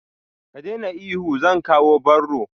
Ka daina ihu, zan kawo barro.